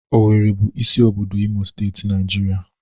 Owerri bụ isi obodo Imo Steeti, Naijiria.